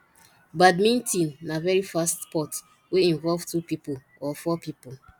badminton na very fast sport wey involve two pipo or four pipo